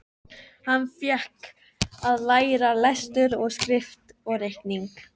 Hann fékk að læra lestur og skrift og reikning.